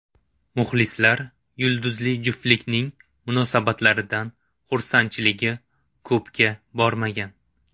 Muxlislar yulduzli juftlikning munosabatlaridan xursandchiligi ko‘pga bormagan.